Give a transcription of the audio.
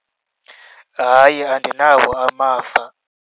Hayi, andinawo amava.